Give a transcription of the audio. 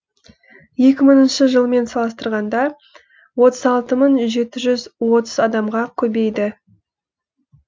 екі мыңыншы жылмен салыстырғанда отыз алты мың жеті жүз отыз адамға көбейді